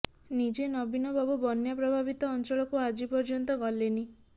ନିଜେ ନବୀନବାବୁ ବନ୍ୟା ପ୍ରଭାବିତ ଅଞ୍ଚଳକୁ ଆଜି ପର୍ଯ୍ୟନ୍ତ ଗଲେନି